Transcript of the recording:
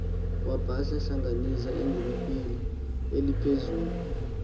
wabahlanganisa egumbini eliphezulu